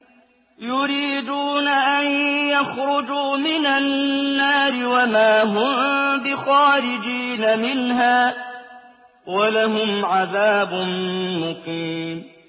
يُرِيدُونَ أَن يَخْرُجُوا مِنَ النَّارِ وَمَا هُم بِخَارِجِينَ مِنْهَا ۖ وَلَهُمْ عَذَابٌ مُّقِيمٌ